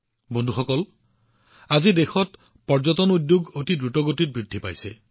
বন্ধুসকল আজি দেশত পৰ্যটন অতি দ্ৰুতগতিত বৃদ্ধি পাইছে